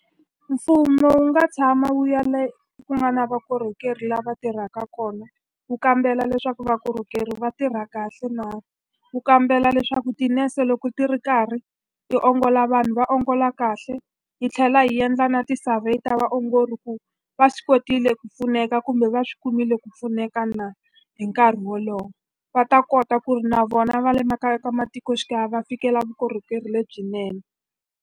Mfumo wu nga tshama wu ya le ku nga na vukorhokeri lava tirhaka kona, wu kambela leswaku vukorhokeri va tirha kahle na. Wu kambela leswaku tinese loko ti ri karhi ti ongola vanhu va ongola kahle, hi tlhela hi endla na ti-survey ta vaongori leswaku va swi kotile ku pfuneka kumbe va swi kumile ku pfuneka na hi nkarhi wolowo. Va ta kota ku ri na vona va le makaya ka matikoxikaya va fikela vukorhokeri lebyinene.